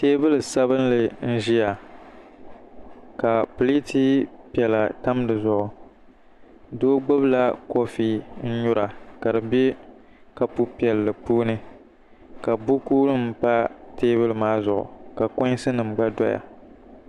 Teebuli sabinli n-ʒiya ka pileeti piɛla tam di zuɣu doo gbubila kɔfi n-nyura ka di be kɔpu piɛlli puuni ka bukunima pa teebuli maa zuɣu ka kɔɣinsi gba doya